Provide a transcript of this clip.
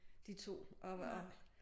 De 2 at at